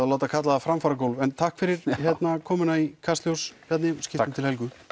að láta kalla það framfaragólf en takk fyrir komuna í Kastljós Bjarni skiptum til Helgu